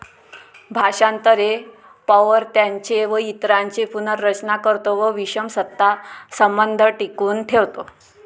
भाषांतर हे पौवर्त्यांचे व इतरांचे पुनर्रचना करतो व विषम सत्ता संबंध टिकवून ठेवतो.